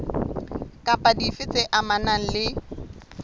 kapa dife tse amanang le